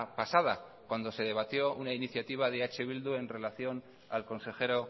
pasada cuando se debatió una iniciativa de eh bildu en relación al consejero